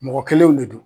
Mɔgɔ kelenw de don